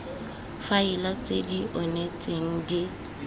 faele tse di onetseng di